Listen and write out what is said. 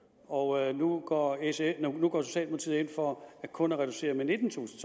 og nu går socialdemokratiet ind for kun at reducere med nittentusind